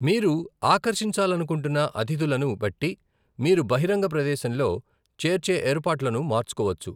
మీరు ఆకర్షించాలనుకుంటున్న అతిథులను బట్టి మీరు బహిరంగ ప్రదేశంలో చేర్చే ఏర్పాట్లను మార్చుకోవచ్చు.